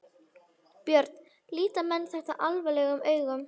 Björn: Líta menn þetta alvarlegum augum?